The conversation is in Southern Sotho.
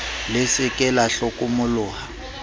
le se ke la hlokomoloha